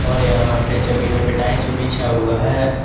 और यहां पे जमीनों पे टाइल्स भी बिछा हुआ है।